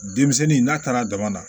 Denmisɛnnin n'a taara dama na